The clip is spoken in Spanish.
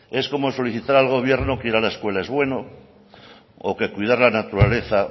es como solicitar al gobierno que ir a la escuela es bueno o que cuidar la naturaleza